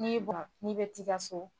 N'i n'i bɛ t'i ka so